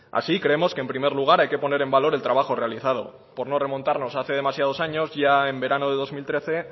así creemos que en primer lugar hay que poner en valor el trabajo realizado por no remontarnos a hace demasiados años ya en verano de dos mil trece